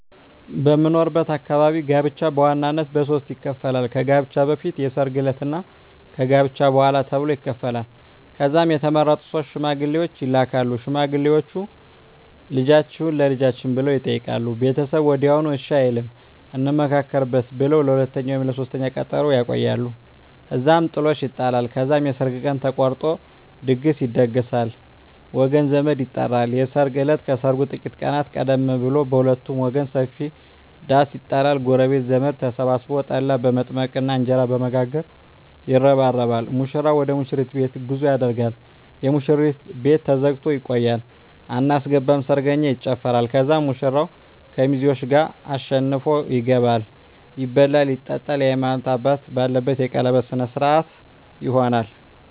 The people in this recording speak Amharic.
በምኖርበት አካባቢ ጋብቻ በዋናነት በሦስት ይከፈላል። ከጋብቻ በፊት፣ የሰርግ ዕለት እና ከጋብቻ በኋላ ተብሎ ይከፈላል። ከዛም የተመረጡ ሶስት ሽማግሌዎች ይላካሉ። ሽማግሌዎቹ "ልጃችሁን ለልጃችን" ብለው ይጠይቃሉ። ቤተሰብ ወዲያውኑ እሺ አይልም፤ "እንመካከርበት" ብለው ለሁለተኛ ወይም ለሦስተኛ ቀጠሮ ያቆያሉ። እዛም ጥሎሽ ይጣላል። ከዛም የሰርግ ቀን ተቆርጦ ድግስ ይደገሳል፣ ወገን ዘመድ ይጠራል። የሰርግ እለት ከሰርጉ ጥቂት ቀናት ቀደም ብሎ በሁለቱም ወገን ሰፊ ዳስ ይጣላል። ጎረቤትና ዘመድ ተሰብስቦ ጠላ በመጥመቅና እንጀራ በመጋገር ይረባረባል። ሙሽራው ወደ ሙሽሪት ቤት ጉዞ ያደርጋል። የሙሽሪት ቤት ተዘግቶ ይቆያል። አናስገባም ሰርገኛ ይጨፋራል። ከዛም ሙሽራው ከሚዜዎቹ ጋር አሸንፎ ይገባል። ይበላል ይጠጣል፣ የሀይማኖት አባት ባለበት የቀለበት ስነ ስሮአት ይሆናል